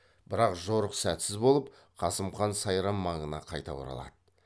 бірақ жорық сәтсіз болып қасым хан сайрам маңына қайта оралады